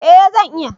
eh zan iya